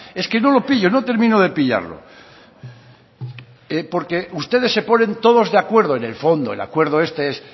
es que no lo pillo no termino de pillarlo ustedes se ponen todos de acuerdo en el fondo el acuerdo este es